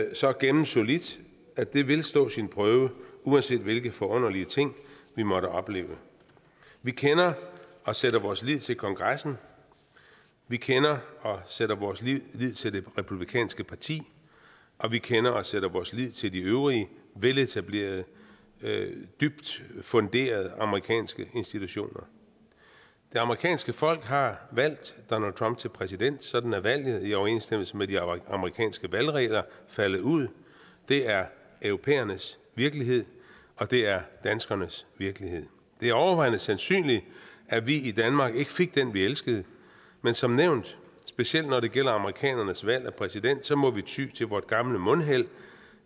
og så gennemsolidt at det vil stå sin prøve uanset hvilke forunderlige ting vi måtte opleve vi kender og sætter vores lid til kongressen vi kender og sætter vores lid lid til det republikanske parti og vi kender og sætter vores lid til de øvrige veletablerede dybt funderede amerikanske institutioner det amerikanske folk har valgt donald trump til præsident sådan er valget i overensstemmelse med de amerikanske valgregler faldet ud det er europæernes virkelighed og det er danskernes virkelighed det er overvejende sandsynligt at vi i danmark ikke fik den vi elskede men som nævnt specielt når det gælder amerikanernes valg af præsident så må vi ty til vort gamle mundheld